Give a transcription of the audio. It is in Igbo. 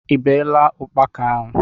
I beela ukpaka ahụ?